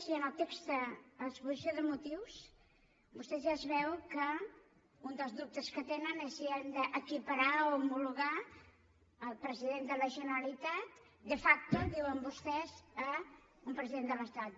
i en el text en l’exposició de motius vostès ja es veu que un dels dubtes que tenen és si hem d’equiparar o homologar el president de la generalitat de facto diuen vostès a un president de l’estat